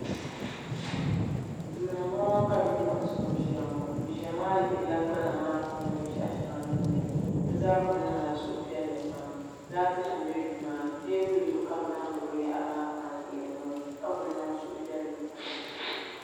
duu ni n bɔŋɔ ka bipuɣunsi ŋɔ ʒiya ŋɔ bi ʒiya maa lihirila gbana maa puuni binshaɣu shɛŋa din biɛni bi zaa kuli niŋla suhupiɛlli pam laati nim bɛ duu maa ni teebuli zuɣu ka bi zaŋ bi binyahari maa pa n lihiri ŋɔ ka ku niŋ suhupiɛlli pam